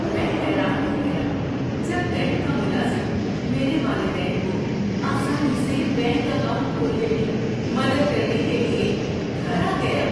میں حیران رہ گیا جب بینک کا ملازم میرے والدین کو آسانی سے بینک اکاؤنٹ کھولنے میں مدد کرنے کے لیے گھر آ گیا۔